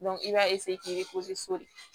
i b'a k'i de